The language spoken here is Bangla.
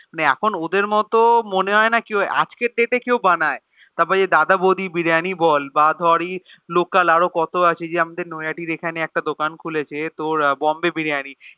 মানে এখন ওদের মতো মনেহয়েনা আজকের Date এ কেও বানায়ে তারপর এই যে দাদা বৌদির বিরিয়ানি বল না ধরে Local আরোকত আছে নৈহাটির এখানে দোকান খুলছে তোর Bombay biriyani